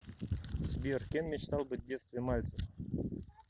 сбер кем мечтал быть в детстве мальцев